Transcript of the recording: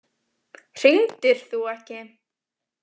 Hringdir þú ekki?